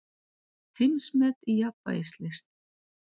Heimsmet í jafnvægislist